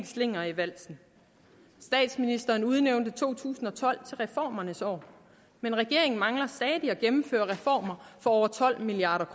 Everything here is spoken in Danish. slinger i valsen statsministeren udnævnte to tusind og tolv til reformernes år men regeringen mangler stadig at gennemføre reformer for over tolv milliard